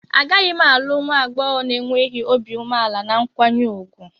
Agaghị m alụ nwa agbọghọ na-enweghị obi umeala na nkwanye ùgwù.